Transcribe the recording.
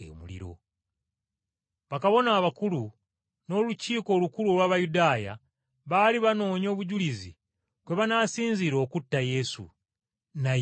Bakabona abakulu, n’Abasaddukaayo bonna, baali banoonya obujulizi kwe banaasinziira okutta Yesu, naye ne bubabula.